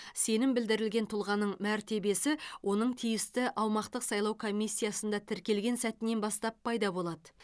сенім білдірілген тұлғаның мәртебесі оның тиісті аумақтық сайлау комиссияда тіркелген сәтінен бастап пайда болады